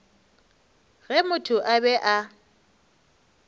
ge motho a be a